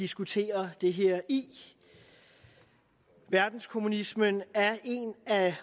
diskuterer det her i verdenskommunismen er